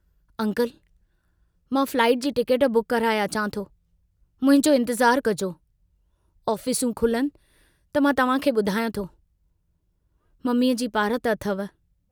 Uncle, मां flight जी ticket book कराए अचां थो, मुंहिंजो इन्तज़ारु कजो... ऑफिसूं खुलनि त मां तव्हां खे बुधायां थो, ममीअ जी पारत अथव।